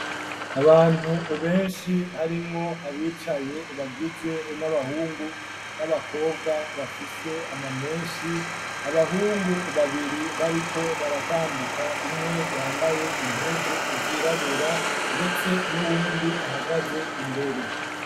Abantu beshi harimwo abicaye bagizwe n'abahungu n'abakobwa bafise ama meshi abahungu babiri bariko baratambuka umwe yambaye impuzu zirabura ndetse n'uwundi ahagaze imbere.